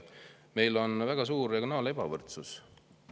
Meil on väga suur regionaalne ebavõrdsus.